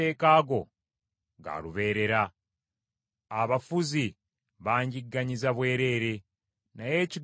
Abafuzi banjigganyiza bwereere, naye ekigambo kyo nkissaamu ekitiibwa.